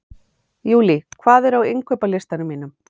Júlí, hvað er á innkaupalistanum mínum?